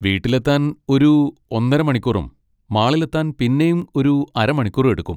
വീട്ടിലെത്താൻ ഒരു ഒന്നര മണിക്കൂറും മാളിലെത്താൻ പിന്നേം ഒരു അര മണിക്കൂറും എടുക്കും.